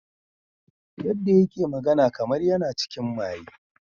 Yanda yake magana kamar yana cikin maye.